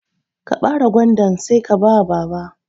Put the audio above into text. Ka bare gwandan Sai ka bawa baba.